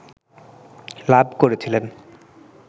লাভ করেছিলেন